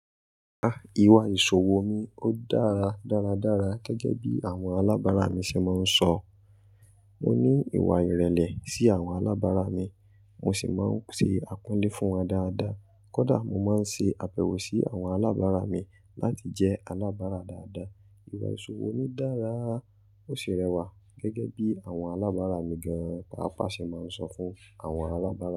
Ah! Iwà ìṣòwò mi ó dára dáradára gẹ́gẹ́ bí àwọn alábàárà mi ṣe máa ń sọ. Mo ní ìwà ìrẹ̀lẹ̀ sí àwọn alábàárà mi, mo sì máa ń ṣe àpọ́nlé fún wọn dáadáa. Kódà mo máa ń ṣe àbẹ̀wò sí àwọn alábàárà mi láti jẹ́ alábàárà dáadáa. Iwà ìṣòwò mi dára, ó ṣe rẹwà gẹ́gẹ́ bí àwọn alábàárà mi gan-an. Paapaa ṣe máa ń sọ fún àwọn alábàárà.